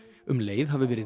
um leið hafi verið